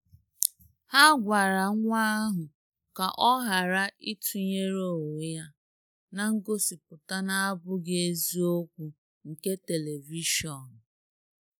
Ha gwara nwa ahụ ka ọ ghara ịtụnyere onwe ya na ngosipụta na-abụghị eziokwu nke telivishọn.